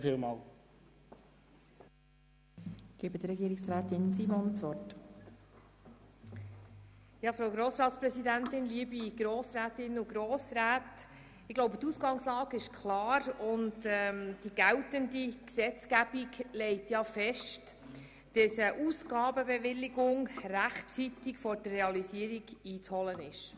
Die Ausgangslage ist meines Erachtens klar, und die geltende Gesetzgebung legt ja fest, dass eine Ausgabenbewilligung rechtzeitig vor der Realisierung einzuholen ist.